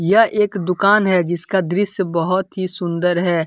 यह एक दुकान है जिसका दृश्य बहुत ही सुंदर है।